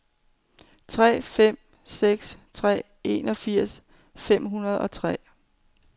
tre fem seks tre enogfirs fem hundrede og tre